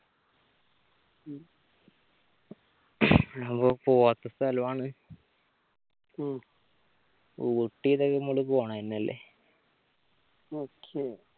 അതാവുമ്പോ പോവാത്ത സ്ഥലവുമാണ് ഉം ഊട്ടിയിലൊക്കെ നമ്മൾ പോണതെന്നല്ലേ okay